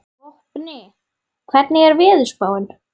Vopni, hvernig er veðurspáin?